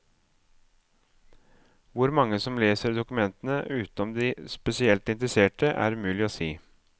Hvor mange som leser dokumentene utenom de spesielt interesserte, er umulig å si.